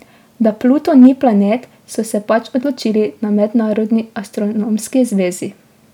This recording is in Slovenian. Da Pluton ni planet, so se pač odločili na Mednarodni astronomski zvezi.